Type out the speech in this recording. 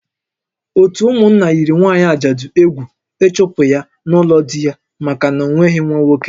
Ótú ụmụnna yiri nwaanyị ajadu egwu ịchụpụ ya n'ụlọ di ya maka na o nweghị nwa nwoke